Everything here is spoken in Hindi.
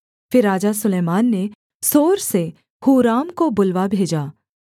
फिर राजा सुलैमान ने सोर से हूराम को बुलवा भेजा